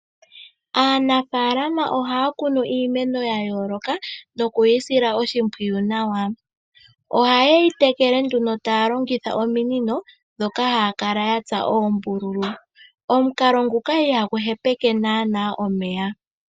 Aanafaalama ohaya kunu iimeno ya yooloka nokuyisila oshimpiwu nawa. Ohaye yi tekele nduno taya longitha ominino dhoka haya kala ya tsa oombululu, omukalo nguka ihagu hepeke nana omeya.